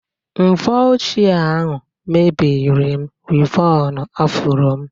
Mvọ ochie ahụ mebiri m wịvọn afro m.